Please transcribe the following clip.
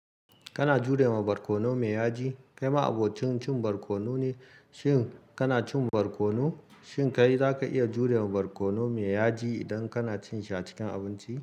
Kana jurewa barkono me yaji. Kai ma abokin cin barkono ne, shin kana cin barkono? Shin kai za ka iya jurewa barkono me yaji idan kana cin shi a cikin abinci?